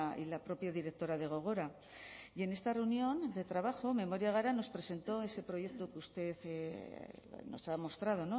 y la propia directora de gogora y en esta reunión de trabajo memoria gara nos presentó ese proyecto que usted nos ha mostrado